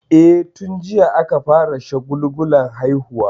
E, tun jiya aka fara shagulgulan haihuwa.